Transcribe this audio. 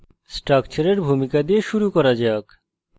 স্ট্রাকচারের ভূমিকা দিয়ে শুরু করা যাক